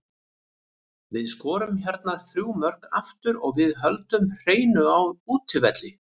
Við skorum hérna þrjú mörk aftur og við höldum hreinu á útivelli.